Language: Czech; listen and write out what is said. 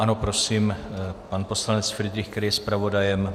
Ano, prosím, pan poslanec Fridrich, který je zpravodajem.